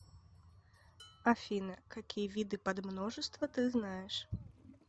афина какие виды подмножество ты знаешь